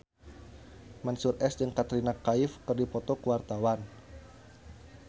Mansyur S jeung Katrina Kaif keur dipoto ku wartawan